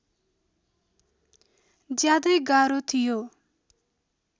ज्यादै गाह्रो थियो